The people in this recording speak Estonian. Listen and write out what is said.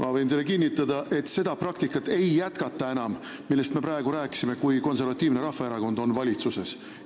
Ma võin teile kinnitada, et seda praktikat, millest me praegu rääkisime, ei jätkata enam siis, kui Konservatiivne Rahvaerakond on valitsuses.